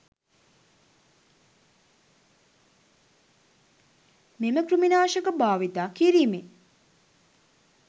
මෙම කෘමි නාශක භාවිතා කිරීමෙ